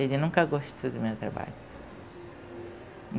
Ele nunca gostou do meu trabalho.